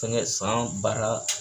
Fɛnkɛ san baara